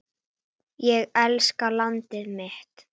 Ég elska landið mitt.